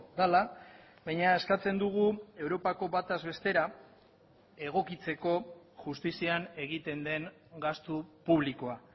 dela baina eskatzen dugu europako bataz bestera egokitzeko justizian egiten den gastu publikoa